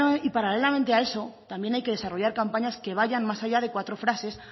y paralelamente a eso también hay que desarrollar campañas que vayan más allá de cuatro frases